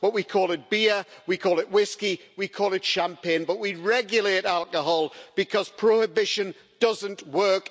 We call it beer, we call it whisky or we call it champagne, but we regulate alcohol because prohibition doesn't work.